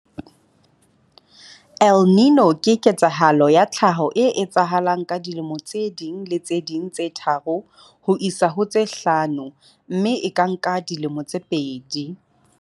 El Niño ke ketsahalo ya tlhaho e etsahalang ka dilemo tse ding le tse ding tse tharo ho isa ho tse hlano mme e ka nka dilemo tse pedi.